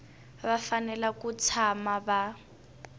va fanele ku tshama va